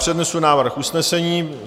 Přednesu návrh usnesení.